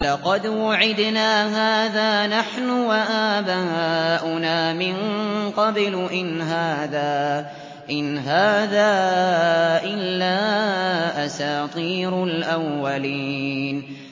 لَقَدْ وُعِدْنَا هَٰذَا نَحْنُ وَآبَاؤُنَا مِن قَبْلُ إِنْ هَٰذَا إِلَّا أَسَاطِيرُ الْأَوَّلِينَ